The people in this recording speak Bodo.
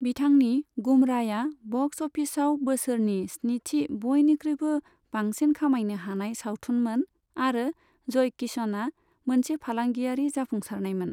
बिथांनि गुमराया बक्स अफिसयाव बोसोरनि स्निथि बयनिख्रुयबो बांसिन खामायनो हानाय सावथुनमोन आरो जय किशनया मोनसे फालांगियारि जाफुंसारनायमोन।